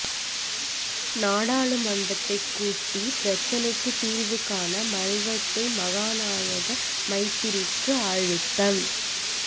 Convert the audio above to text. நாடாளுமன்றைக் கூட்டி பிரச்சினைக்குத் தீர்வு காண மல்வத்த மகாநாயக்கர் மைத்திரிக்கு அழுத்தம்